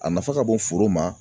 A nafa ka bon foro ma.